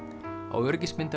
á